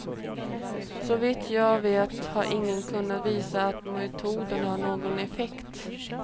Så vitt jag vet har ingen kunnat visa att metoden har någon effekt.